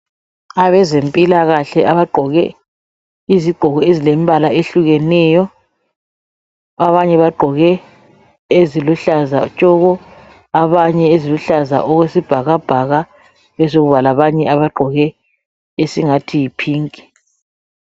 Abezempilakahle abagqoke izigqoko ezilembala ehlukeneyo. Abanye bagqoke eziluhlaza tshoko abanye, eziluhlaza okwesibhakabhaka kube sekuzakuba labanye abagqoke esingathi yiphinki.